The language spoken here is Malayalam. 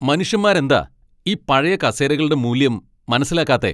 മനുഷ്യന്മാരെന്താ ഈ പഴയ കസേരകളുടെ മൂല്യം മനസിലാക്കാത്തെ?